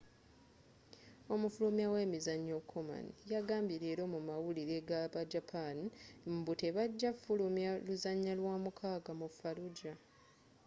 omufulumya we mizzanyo konami yagambye leero mu mawulire ga ba japan mbu te bagya fulumya luzanya lwa mukaga mu fallujah